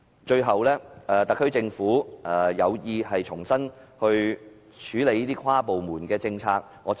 最後，特區政府有意重新改善跨部門政策協調。